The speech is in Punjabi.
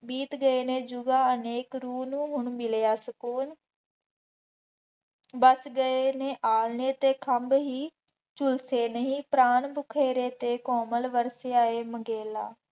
ਬੀਤ ਗਏ ਨੇ ਅਨੇਕ ਰੂਹ ਨੂੰ ਹੁਣ ਮਿਲਿਆ ਸਕੂਨ, ਵੱਸ ਗਏ ਨੇ ਆਲ੍ਹਣੇ ਤੇ ਖੰਭ ਹੀ, ਝੁਲਸੇ ਨਹੀਂ ਪ੍ਰਾਣ ਭੁਖੇਰੇ ਅਤੇ ਕੋਮਲ ਵਰਸੇ ਆਏ ਮੰਗੇਲਾ